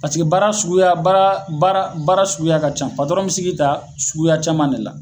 Paseke baara suguya baara baara baara suguya ka ca patɔrɔn bi se k'i ta suguya caman de la